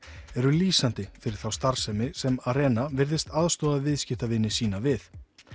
eru lýsandi fyrir þá starfsemi sem virðist aðstoða viðskiptavini sína við